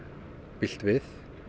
bilt við